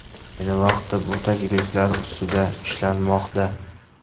Ayni vaqtda bu takliflar ustida ishlanmoqda.